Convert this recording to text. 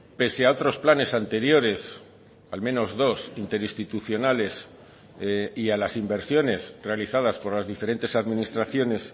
pese a otros planes anteriores al menos dos interinstitucionales y a las inversiones realizadas por las diferentes administraciones